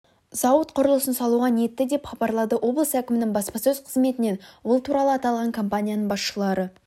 зауыт құрлысын салуға ниетті деп хабарлады облыс әкімінің баспасөз қызметінен бұл туралы аталған компанияның басшылары